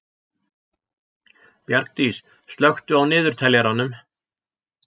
Bjargdís, slökktu á niðurteljaranum.